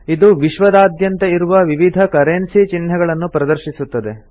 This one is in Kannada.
ಇದು ವಿಶ್ವದಾದ್ಯಂತ ಇರುವ ವಿವಿಧ ಕರೆನ್ಸಿ ಚಿಹ್ನೆಗಳನ್ನು ಪ್ರದರ್ಶಿಸುತ್ತದೆ